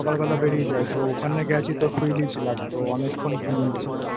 বেলা বেড়িয়ে যাই তো ওখানে গেছি তো Freely ছিলাম৷ তো অনেকক্ষণ ঘুমিয়েছি